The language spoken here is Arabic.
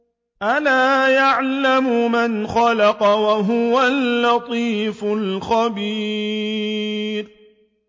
أَلَا يَعْلَمُ مَنْ خَلَقَ وَهُوَ اللَّطِيفُ الْخَبِيرُ